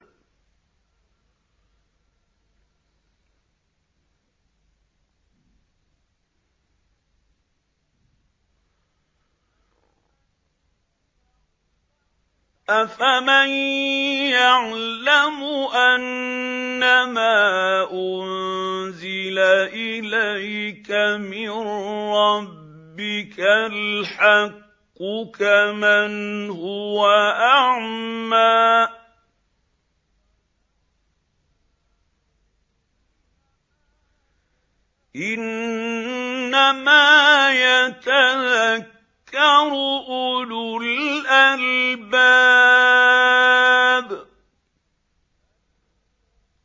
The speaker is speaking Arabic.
۞ أَفَمَن يَعْلَمُ أَنَّمَا أُنزِلَ إِلَيْكَ مِن رَّبِّكَ الْحَقُّ كَمَنْ هُوَ أَعْمَىٰ ۚ إِنَّمَا يَتَذَكَّرُ أُولُو الْأَلْبَابِ